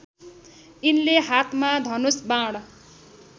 यिनले हातमा धनुष बाण